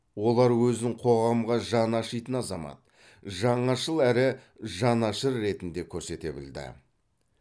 олар өзін қоғамға жаны ашитын азамат жаңашыл әрі жанашыр ретінде көрсете білді